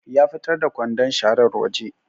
Ya fitar da kwandun sharar waje